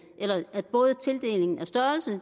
at både størrelse